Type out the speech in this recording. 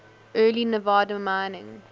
early nevada mining